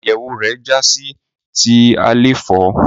Àyẹwò rẹ já sí ti àléfọ.